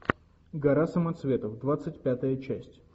гора самоцветов двадцать пятая часть